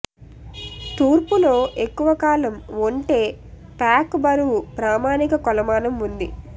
తూర్పు లో ఎక్కువ కాలం ఒంటె ప్యాక్ బరువు ప్రామాణిక కొలమానం ఉంది